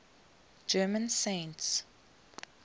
german saints